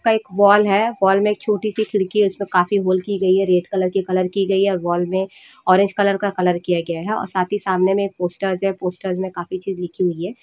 एक वॉल है वॉल मे एक छोटी सी खिड़की है उसका काफी होल की गई है रेड कलर की कलर की गई है और वॉल मे ऑरेंज कलर किया गया है और साथ ही सामने में एक पोस्टर्स है पोस्टर मे काफी चीज लिखी हुई है ।